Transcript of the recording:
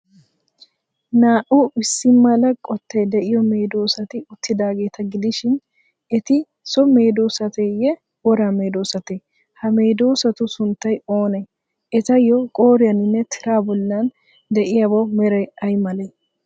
Naa''u issi mala qottay de'iyo medoosati uttidaageeta gidishn, eti so medoosateyyee, wora medoosatee? Ha medoosatu sunttay oonee? Etayyo qooriyaaninne tiraa bollan de'iyabawu meray ay malee?